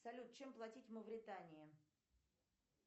салют чем платить в мавритании